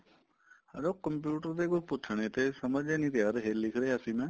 or ਓ computer ਦੇ ਕੁੱਛ ਪੁੱਛਨੇ ਤੇ ਸਮਝ ਹੀ ਨੀ ਆ ਰਹੇ ਲਿੱਖ ਰਿਹਾ ਸੀ ਮੈਂ